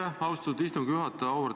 Aitäh, austatud istungi juhataja!